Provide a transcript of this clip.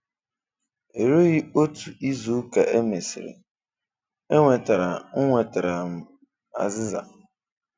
Erùghị́ otu izù ka e mesịrị, e nwetàrà nwetàrà m azị́za.